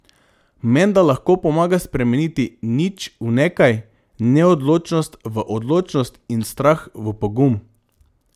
Menda lahko pomaga spremeniti nič v nekaj, neodločnost v odločnost in strah v pogum.